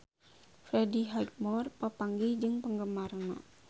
Freddie Highmore papanggih jeung penggemarna